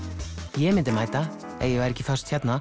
ég myndi mæta ef ég væri ekki föst hérna